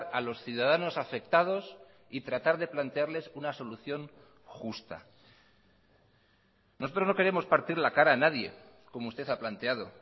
a los ciudadanos afectados y tratar de plantearles una solución justa nosotros no queremos partir la cara a nadie como usted ha planteado